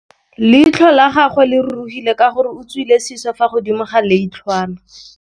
Leitlhô la gagwe le rurugile ka gore o tswile sisô fa godimo ga leitlhwana.